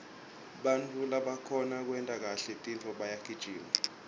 bantfu labakhona kwenta kahle tintfo bayagijima